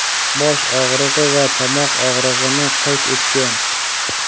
bosh og‘rig‘i va tomoq og‘rig‘ini qayd etgan.